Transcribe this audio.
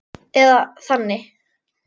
Eða þannig.